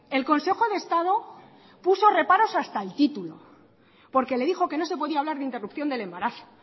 el consejo de estado puso reparos hasta a el título porque le dijo que no se podía hablar de interrupción del embarazo